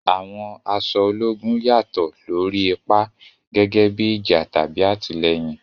Àwọn aṣọ ológun yàtọ̀ lórí ipa, gẹ́gẹ́ bí ìjà tàbí àtìlẹ́yìn.